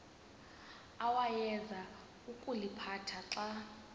awayeza kuliphatha xa